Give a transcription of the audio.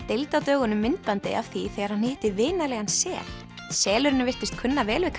deildi á dögunum myndbandi af því þegar hann hitti vinalegan sel selurinn virtist kunna vel við